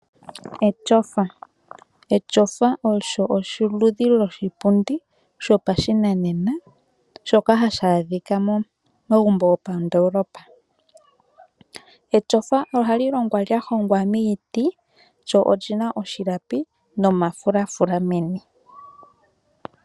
Etyofa olyo oludhi loshipundi shopashinanena , shoka hashi adhika momagumbo gopandoolopa. Etyofa ohali longwa miiti , lyo olina omalapi momafulafula meni.